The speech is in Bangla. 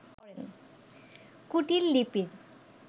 কুটীল লিপির